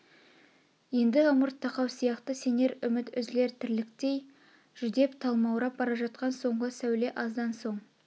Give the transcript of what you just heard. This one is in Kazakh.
енді ымырт тақау сияқты сенер үміт үзілер тірліктей жүдеп талмаурап бара жатқан соңғы сәуле аздан соң